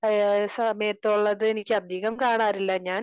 സമയത്തുള്ളത് എനിക്ക് അധികം കാണാറില്ല ഞാൻ